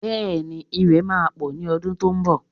Bẹ́ẹ̀ni, Ìrẹ̀ máa pọ̀ ní ọdún tó ń bọ̀